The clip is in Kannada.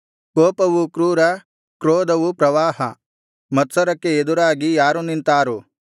ಕೋಪವು ಕ್ರೂರ ಕ್ರೋಧವು ಪ್ರವಾಹ ಮತ್ಸರಕ್ಕೆ ಎದುರಾಗಿ ಯಾರು ನಿಂತಾರು